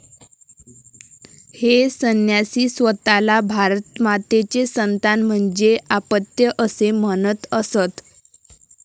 हे संन्यासी स्वतःला भारतमातेचे 'संतान' म्हणजे आपत्य असे म्हणत असत.